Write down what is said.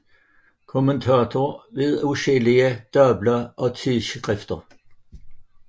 Kommentator ved adskillige dagblade og tidsskrifter